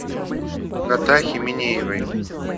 натахе минеевой